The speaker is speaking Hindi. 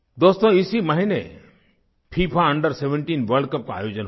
दोस्तो इसी महीने फिफा Under17 वर्ल्ड कप का आयोजन हुआ